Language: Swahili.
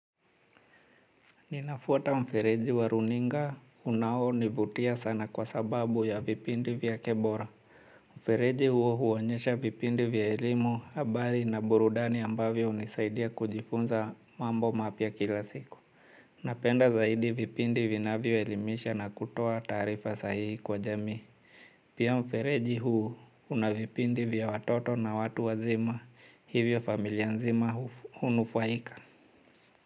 Ninafwata mfereji wa runinga unao nivutia sana kwa sababu ya vipindi vyake bora. Mfereji huo huonyesha vipindi vya elimu habari na burudani ambavyo hunisaidia kujifunza mambo mapya kila siku. Napenda zaidi vipindi vinavyo elimisha na kutoa taarifa sahihi kwa jamii. Pia mfereji huo unavipindi vya watoto na watu wazima hivyo familia nzima hunufaika.